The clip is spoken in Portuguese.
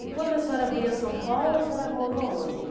E quando a senhora veio a São Paulo, a senhora morou aonde?